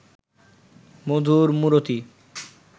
মধুর মূরতি